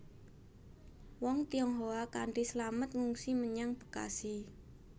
Wong Tionghoa kanthi slamet ngungsi menyang Bekasi